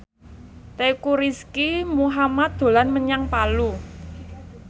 Teuku Rizky Muhammad dolan menyang Palu